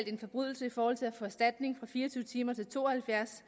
en forbrydelse i forhold til at få erstatning ændres fra fire og tyve timer til to og halvfjerds